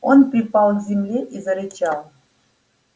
он припал к земле и зарычал